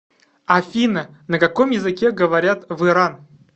афина на каком языке говорят в иран